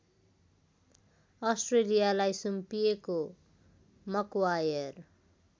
अस्ट्रेलियालाई सुम्पिएको मक्वायर